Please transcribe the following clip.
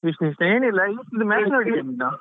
ವಿಶೇಷ ಏನಿಲ್ಲ ಇವತ್ತಿದ್ದು match ನೋಡಿದ್ಯಾ ನೀನು?